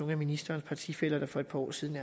af ministerens partifæller der for et par år siden